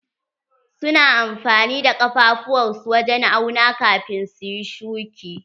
Su na amfani da kafafuwar su wajen auna kafin su yi shuki.